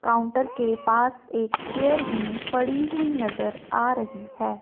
Counter के पास एक चेयर भी पड़ी हुई नजर आ रही है।